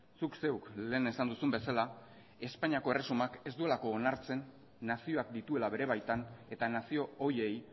zuk zeuk lehen esan duzun bezala espainiako erresumak ez duelako onartzen nazioak dituela bere baitan eta nazio horiei